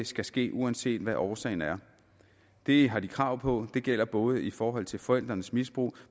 skal ske uanset hvad årsagen er det har de krav på og det gælder både i forhold til forældrenes misbrug